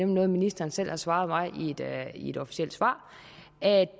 noget ministeren selv har svaret mig i et officielt svar